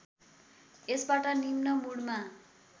यसबाट निम्न मुडमा